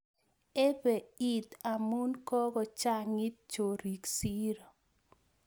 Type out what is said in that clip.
Ebei iit amun kokochangit chorik siiro